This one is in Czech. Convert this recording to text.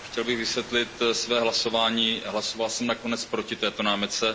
Chtěl bych vysvětlit své hlasování. Hlasoval jsem nakonec proti této námitce.